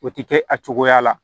O tɛ kɛ a cogoya la